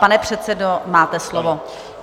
Pane předsedo, máte slovo.